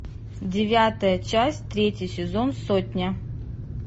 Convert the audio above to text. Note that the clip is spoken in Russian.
девятая часть третий сезон сотня